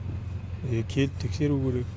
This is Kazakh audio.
келіп тексеру керек